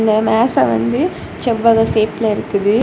இந்த மேச வந்து செவ்வக ஷேப்பில் இருக்குது.